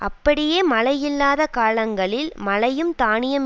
அப்படியே மழை இல்லாத காலங்களில் மழையும் தானியம்